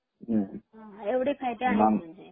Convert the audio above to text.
एवढे फायदे आहेत मग याचे